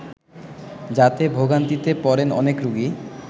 যাতে ভোগান্তিতে পড়েন অনেক রোগী